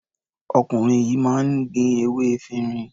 Ọkùnrin yìí máa ń ní gbin ewé efirin.